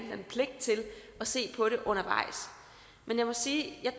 se på det undervejs men jeg må sige at jeg